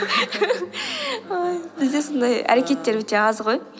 ой бізде сондай әрекеттер өте аз ғой